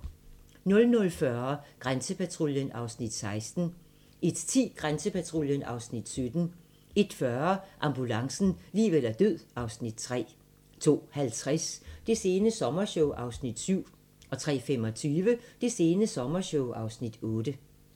00:40: Grænsepatruljen (Afs. 16) 01:10: Grænsepatruljen (Afs. 17) 01:40: Ambulancen - liv eller død (Afs. 3) 02:50: Det sene sommershow (Afs. 7) 03:25: Det sene sommershow (Afs. 8)